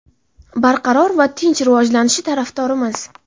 barqaror va tinch rivojlanishi tarafdorimiz.